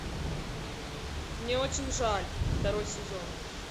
мне очень жаль второй сезон